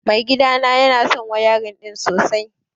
Mai gidana ya so wayarin ɗin sosai